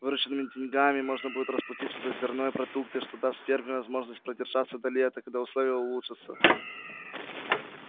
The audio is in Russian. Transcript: вырученными деньгами можно будет расплатиться за зерно и продукты что даст ферме возможность продержаться до лета когда условия улучшатся